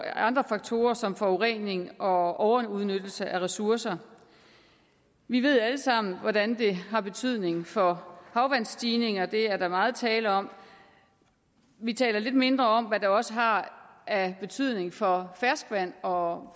andre faktorer som forurening og overudnyttelse af ressourcer vi ved alle sammen hvordan det har betydning for havvandsstigninger det er der meget tale om vi taler lidt mindre om hvad det også har af betydning for ferskvand og